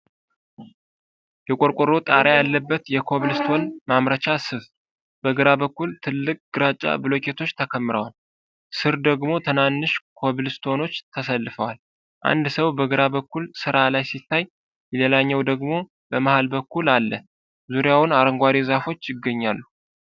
የቆርቆሮ ጣሪያ ያለበት የኮብልስቶን ማምረቻ ስፍ፣ በግራ በኩል ትልቅ ግራጫ ብሎኬቶች ተከምረዋል፣ ስር ደግሞ ትናንሽ ኮብልስቶኖች ተሰልፈዋል። አንድ ሰው በግራ በኩል ስራ ላይ ሲታይ፣ ሌላኛው ሰው ደግሞ በመሃል በኩል አለ፤ ዙሪያውን አረንጓዴ ዛፎች ይገኛሉ።